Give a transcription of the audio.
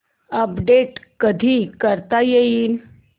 update कधी करता येईल